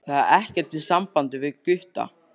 Það er ekkert í sambandi við Gutta.